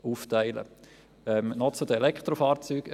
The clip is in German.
Noch eine Bemerkung zu den Elektrofahrzeugen.